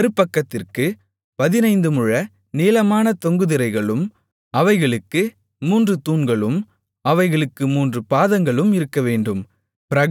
மறுபக்கத்திற்குப் பதினைந்து முழ நீளமான தொங்கு திரைகளும் அவைகளுக்கு மூன்று தூண்களும் அவைகளுக்கு மூன்று பாதங்களும் இருக்கவேண்டும்